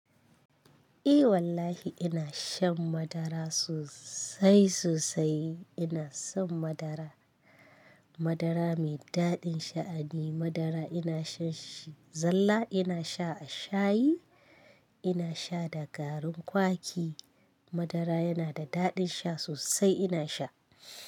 Eh wallahi ina shan madara sosai sosai. Ina son madara. Madara mai daɗin sha ne. Madara ina shan shi zalla, ina sha a shayi, ina sha da garin kwaki. Madara yana da daɗin sha sosai ina sha.